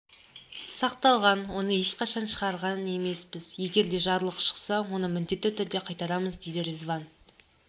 сақталған оны ешқашан шығарған емеспіз егер де жарлық шықса оны міндетті түрде қайтарамыз дейді резван